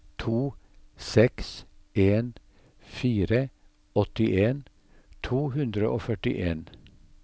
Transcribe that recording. to seks en fire åttien to hundre og førtien